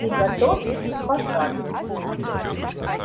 приготовьтесь к посадке